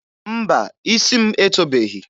Mba, isi m etobeghi.